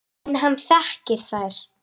En hann þekkir þær.